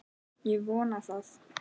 Ég vona það.